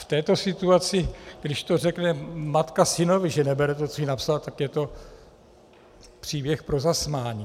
V této situaci, když to řekne matka synovi, že nebere to, co jí napsal, tak je to příběh pro zasmání.